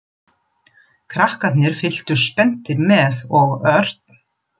Krakkarnir fylgdust spenntir með og Örn